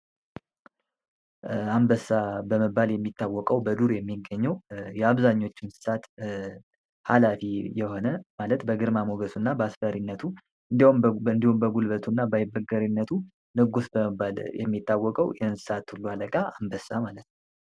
አንበሳ በመባል የሚታወቀው በዱር የሚገኘው የአብዛኞቹ እንስሳት ሃላፊ የሆነ ማለት በግርማ ሞገሱ እና በአስፈሪነቱ እንዲሁም በጉልበቱ እና በይበገሪነቱ ንጉስ በመባል የሚታወቀው የእንስሳት አለቃ አንበሳ ማለት ነው።